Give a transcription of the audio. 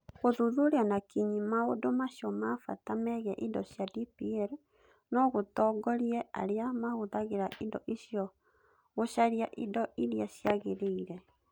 Gũthuthuria na kinyi maũndũ macio ma bata megiĩ indo cia DPL no gũtongorie arĩa mahũthagĩra indo icio gũcaria indo iria ciagĩrĩire.